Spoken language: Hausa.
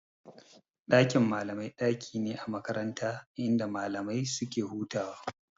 Dakin malamai daki ne a makaranta inda malamai suke hutawa.